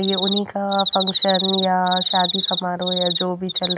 ये उन्ही का फंक्शन या शादी समारौ या जो भी चल--